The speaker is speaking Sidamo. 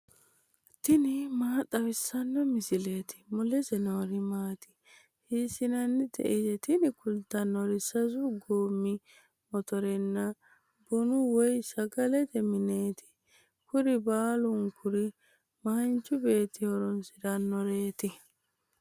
tini maa xawissanno misileeti ? mulese noori maati ? hiissinannite ise ? tini kultannori sasu goommi motorenna bunu woy sagalete mineeti. kuri baalunkuri manchu beetti horoonsirannoreeti.